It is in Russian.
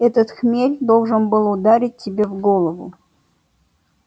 этот хмель должен был ударить тебе в голову